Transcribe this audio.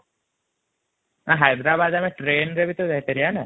ହୟଦେରବଡ ଆମେ ଟ୍ରେନ ରେ ଟା ଯାଇପାରିବ ତ ନା |